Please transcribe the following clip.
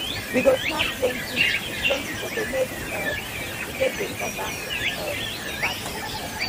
we go snap plenty plenty foto make um we take dey remember um di party